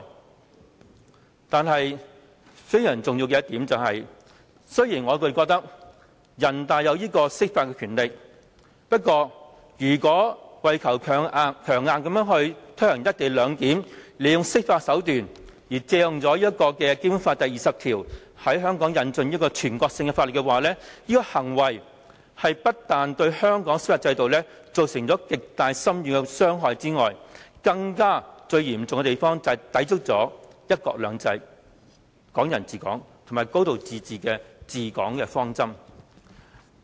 我認為非常重要的一點是，雖然人大享有釋法的權力，但如果強硬推行"一地兩檢"，利用釋法手段，借用《基本法》第二十條，在香港引進全國性法律，這種行為除了對香港司法制度造成極大深遠的傷害之外，最嚴重的影響，就是會抵觸"一國兩制"、"港人治港"和"高度自治"的治港方針。